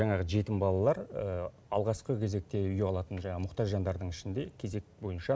жаңағы жетім балалар алғашқы кезекте үй алатын жаңағы мұқтаж жандардың ішінде кезек бойынша